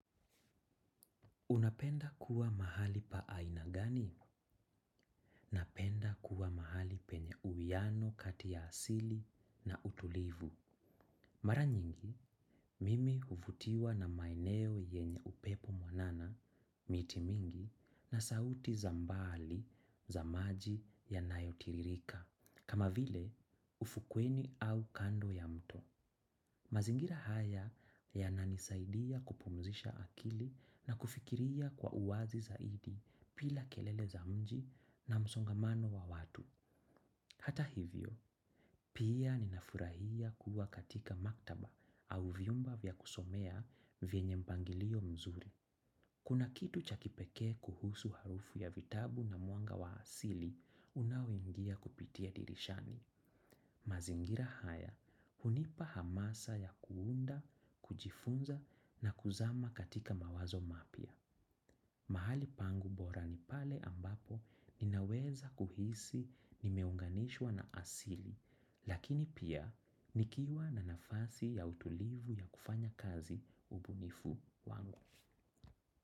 Unapenda kuwa mahali pa aina gani? Napenda kuwa mahali penye uwiano kati ya asili na utulivu. Mara nyingi, mimi uvutiwa na maeneo yenye upepo mwanana, miti mingi, na sauti za mbali, za maji yanayotirika. Kama vile, ufukweni au kando ya mto. Mazingira haya yananisaidia kupumzisha akili na kufikiria kwa uwazi zaidi pila kelele za mji na msongamano wa watu. Hata hivyo, pia ninafurahia kuwa katika maktaba au viumba vya kusomea vyenye mpangilio mzuri. Kuna kitu cha kipeke kuhusu harufu ya vitabu na muanga wa asili unaoingia kupitia dirishani. Mazingira haya hunipa hamasa ya kuunda, kujifunza na kuzama katika mawazo mapya. Mahali pangu bora ni pale ambapo ninaweza kuhisi nimeunganishwa na asili, lakini pia nikiwa na nafasi ya utulivu ya kufanya kazi ubunifu wangu.